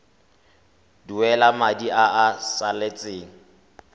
duela madi a a salatseng